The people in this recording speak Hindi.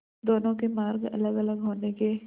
दोनों के मार्ग अलगअलग होने के